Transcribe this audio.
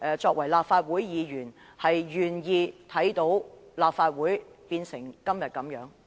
作為立法會議員，大家會否願意看到立法會落得如此境地？